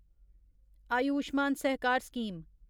Ayushman Sahakar scheme